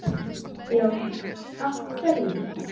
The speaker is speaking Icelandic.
Jóhanna: Af hverju?